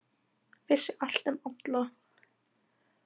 Vissi allt um alla.